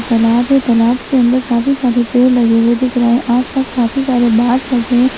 तालाब है तालाब के अंदर काफी सारे पेड़ लगे हुए दिख रहे हैं आस-पास काफी सारे बास लगे हैं।